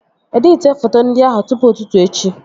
Editie foto ndị ahụ tụpụ ụtụtụ echi!